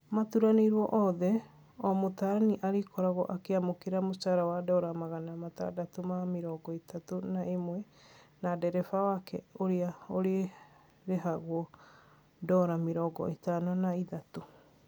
Maturanĩirwo othe, o mũtaarani arĩkoragwo akĩamũkĩra mũcara wa dora magana matandatũ ma mĩrongo ĩtatũ na ĩmwe na dereba wake ũrĩa ũrĩrĩhagwo dora mĩrongo ĩtano na ithatũ